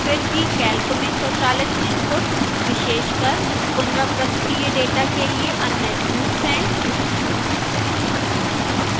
फिर भी calc में स्वचालित input विशेषकर पुनरावृत्तीय data के लिए अन्य tools हैं